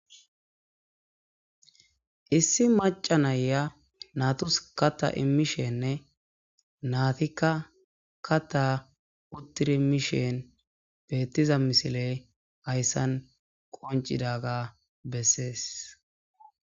Issi macanayya naturus kata imishenne naatikka kata uttiri miishen beettiza misile hayssan qoncidaga bessees.